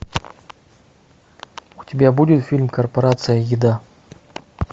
у тебя будет фильм корпорация еда